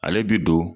Ale bi don